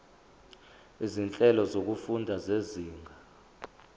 izinhlelo zokufunda zezinga